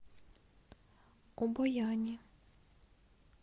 обояни